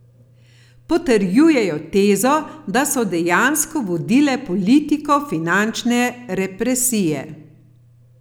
Potrjujejo tezo, da so dejansko vodile politiko finančne represije.